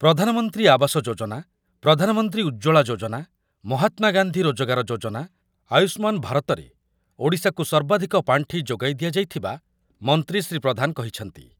ପ୍ରଧାନମନ୍ତ୍ରୀ ଆବାସ ଯୋଜନା, ପ୍ରଧାନମନ୍ତ୍ରୀ ଉଜ୍ଜ୍ବଳ ଯୋଜନା, ମହାତ୍ମା ଗାନ୍ଧୀ ରୋଜଗାର ଯୋଜନା, ଆୟୁଷ୍ମାନ ଭାରତରେ ଓଡ଼ିଶାକୁ ସର୍ବାଧିକ ପାଣ୍ଠି ଯୋଗାଇ ଦିଆଯାଇଥିବା ମନ୍ତ୍ରୀ ଶ୍ରୀ ପ୍ରଧାନ କହିଛନ୍ତିି।